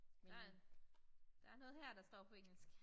Der en der noget her der står på engelsk